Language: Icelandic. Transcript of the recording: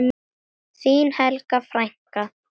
Þín Helga frænka.